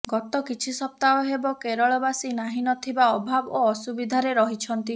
ଗତ କିଛି ସପ୍ତାହ ହେବ କେରଳବାସୀ ନାହିଁ ନ ଥିବା ଅଭାବ ଓ ଅସୁବିଧାରେ ରହିଛନ୍ତି